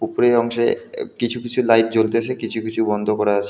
ওপরের অংশে এ কিছু কিছু লাইট জ্বলতেছে কিছু কিছু বন্ধ করা আছে.